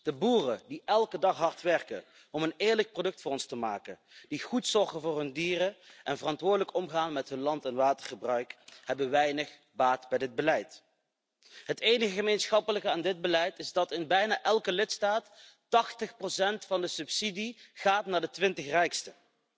De boeren, die elke dag hard werken om een eerlijk product voor ons te maken, die goed zorgen voor hun dieren en verantwoordelijk omgaan met hun land en watergebruik, hebben weinig baat bij dit beleid. Het enige gemeenschappelijke aan dit beleid is dat in bijna elke lidstaat 80 van de subsidie gaat naar de 20 rijksten.